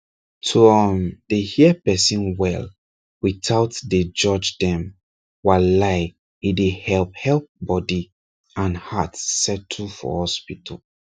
to um dey hear person well without dey judge dem walai e dey help help body and heart settle for hospital